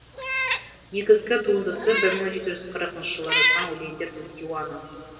негізгі туындысы бір мың жеті жүз қырықыншы жылы жазған өлеңдер тдиуаны